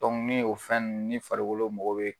ni o fɛn nunnu ni farikolo mɔgɔ bɛ.